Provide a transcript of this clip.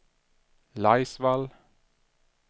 Laisvall